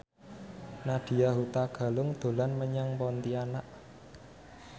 Nadya Hutagalung dolan menyang Pontianak